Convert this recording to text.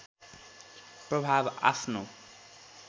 प्रभाव आफ्नो